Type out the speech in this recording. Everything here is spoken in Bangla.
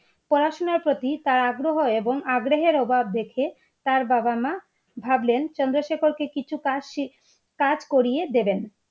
পোড়া শোনা প্রতি তাঁর আগ্রহ এবং আগ্রহের অভাব দেখে তার বাবার মা ভাবলেন চন্দ্রশেখর কে কিছু কাজ করিয়ে দিবেন।